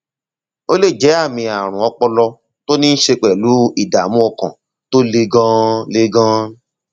ó lè jẹ àmì ààrùn ọpọlọ tó ní í ṣe pẹlú ìdààmú ọkàn tó le ganan le ganan